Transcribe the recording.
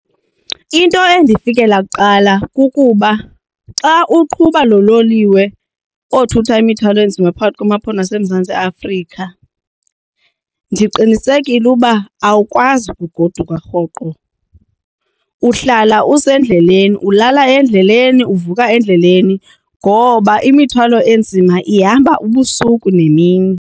Into endifikela kuqala kukuba xa uqhuba lo loliwe othutha imithwalo enzima phakathi kwamaphondo aseMzantsi Afrika ndiqinisekile uba awukwazi ukugoduka rhoqo uhlala usendleleni ulala endleleni, uvuka endleleni ngoba imithwalo enzima ihamba ubusuku nemini.